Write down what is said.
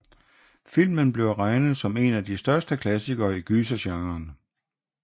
Filmen bliver regnet som en af de største klassikere i gysergenren